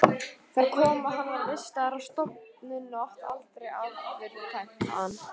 Þar kom að hann var vistaður á stofnun og átti aldrei afturkvæmt þaðan.